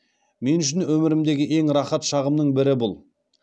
мен үшін өмірімдегі ең рахат шағымның бірі бұл